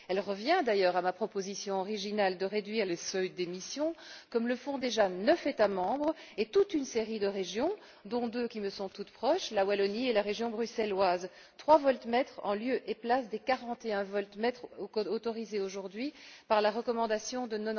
Elle revient, d'ailleurs, à ma proposition originale de réduire les seuils d'émissions, comme le font déjà neuf États membres et toute une série de régions, dont deux qui me sont toutes proches la Wallonie et la région bruxelloise à savoir trois voltmètres en lieu et place des quarante et un voltmètres autorisés aujourd'hui par la recommandation de